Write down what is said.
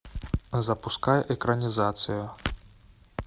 запускай экранизацию